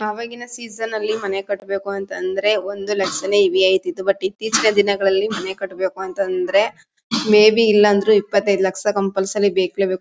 ಆವಾಗಿನ ಸೀಸನ್ ಅಲ್ಲಿ ಮನೆ ಕಟ್ಟಬೇಕು ಅಂತ ಅಂದ್ರೆ ಒಂದು ಲಕ್ಷನೇ ಹೆವಿ ಅಯ್ತಿತ್ತು ಬಟ್ ಇತ್ತೀಚಿನ ದಿನಗಳಲ್ಲಿ ಮೇಬಿ ಇಲ್ಲ ಅಂದ್ರು ಇಪ್ಪತೈದ್ ಲಕ್ಷ ಕಂಪಲ್ಸರಿ ಬೇಕೇ ಬೇಕು.